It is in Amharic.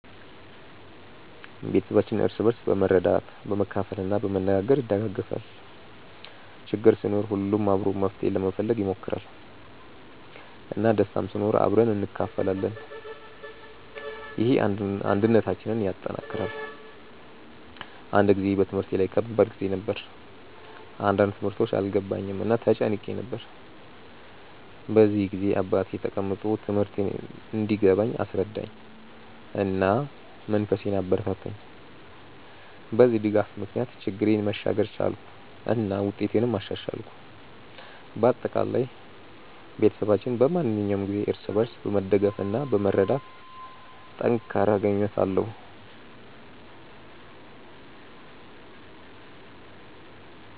ቤተሰባችን እርስ በርስ በመርዳት፣ በመካፈል እና በመነጋገር ይደጋገፋል። ችግር ሲኖር ሁሉም አብሮ መፍትሄ ለመፈለግ ይሞክራል፣ እና ደስታም ሲኖር አብረን እንካፈላለን። ይህ አንድነታችንን ያጠናክራል። አንድ ጊዜ በትምህርቴ ላይ ከባድ ጊዜ ነበር፣ አንዳንድ ትምህርቶች አልገባኝም እና ተጨንቄ ነበር። በዚያ ጊዜ አባቴ ተቀምጦ ትምህርቴን እንዲገባኝ አስረዳኝ፣ እና መንፈሴን አበረታታኝ። በዚህ ድጋፍ ምክንያት ችግሬን መሻገር ቻልኩ እና ውጤቴንም አሻሻልኩ። በአጠቃላይ፣ ቤተሰባችን በማንኛውም ጊዜ እርስ በርስ በመደገፍ እና በመርዳት ጠንካራ ግንኙነት አለው።